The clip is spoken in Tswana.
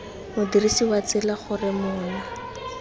modirisi wa tsela gore mola